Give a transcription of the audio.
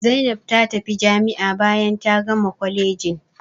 Zaina ta tafi jami'a bayan ta gama kwalejin.